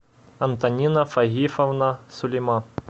антонина фагифовна сулейман